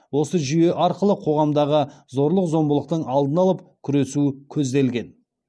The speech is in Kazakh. осы жүйе арқылы қоғамдағы зорлық зомбылықтың алдын алып күресу көзделген